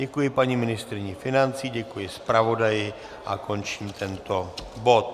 Děkuji paní ministryni financí, děkuji zpravodaji a končím tento bod.